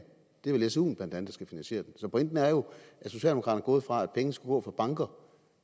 det er vel suen der skal finansiere den så pointen er jo at socialdemokraterne er gået fra at pengene skulle gå fra banker